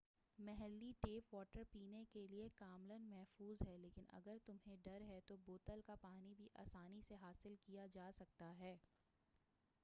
محلّی tap water پینے کے لئے کاملاً محفوظ ہے لیکن اگر تمہیں ڈر ہے تو بوتل کا پانی بھی آسانی سے حاصل کیا جا سکتا ہے